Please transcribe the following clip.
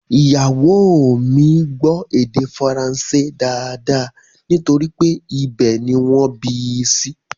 Ìyàwó o mi gbó èdè faransé dáadáa nítorí pé ibẹ̀ ni wọ́n bí i sí